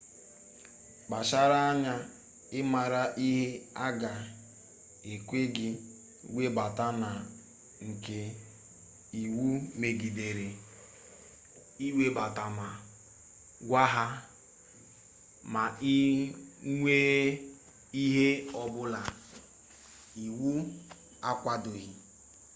kpachara anya ịmara ihe a ga-ekwe gị webata na nke iwu megidere ịwebata ma gwa ha ma ị nwee ihe ọbụla iwu akwadoghi